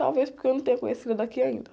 Talvez porque eu não tenho conhecido a daqui ainda.